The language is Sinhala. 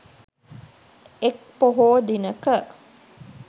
එක් පොහෝ දිනක